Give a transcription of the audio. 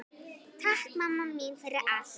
Takk mamma mín fyrir allt.